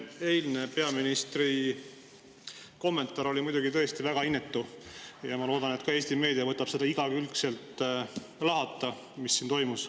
See eilne peaministri kommentaar oli muidugi väga inetu ja ma loodan, et Eesti meedia võtab seda igakülgselt lahata, mis siin toimus.